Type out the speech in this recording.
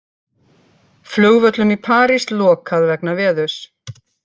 Flugvöllum í París lokað vegna veðurs